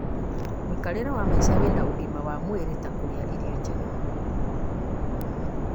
mũikarĩre wa maica wĩna ũgima wa mwĩrĩ ta kũrĩa irio njega